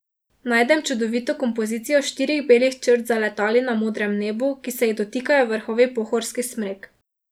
Najdem čudovito kompozicijo štirih belih črt za letali na modrem nebu, ki se jih dotikajo vrhovi pohorskih smrek.